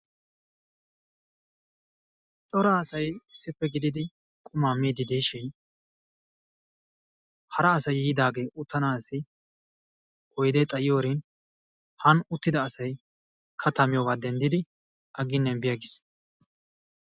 Cora asay issippe gididi quma miiddi diishin hara asay yiidaagee uttanaassi oyde xayiyorin han uttida asay katta miyoga denddidi aggine bi aggis.